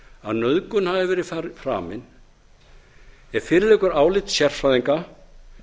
að nauðgun hafi verið framin ef fyrir liggur að áliti sérfræðinga